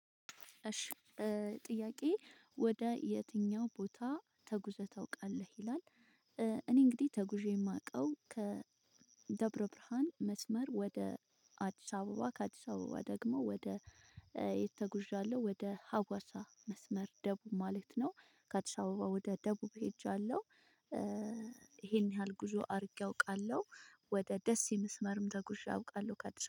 እሺ ጥያቄ ወደ የትኛው ቦታ ተጉዘህ ታውቃለህ ይላል? እኔ እንግዲህ ተጉዤ የማውቀው ከደብረ ብርሃን መስመር ወደ አዲስ አበባ ከአዲስ አበባ ደግሞ ወደ የት ተጉዣለሁ ወደ ሀዋሳ መስመር ደቡብ ማለት ነው ከአዲስ አበባ ወደ ደቡብ ሄጃለሁ። ይሄን ያህል ጉዞ አድርጌ አውቃለሁ ወደ ደሴ መስመርም ተጉዤ አውቃለሁ። ከአዲስ አበባ